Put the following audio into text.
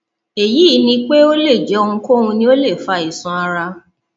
èyí ni pé ó lè jẹ ohunkóhun ni ó lè fa àìsàn ara